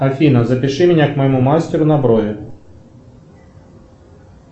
афина запиши меня к моему мастеру на брови